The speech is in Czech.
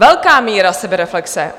Velká míra sebereflexe!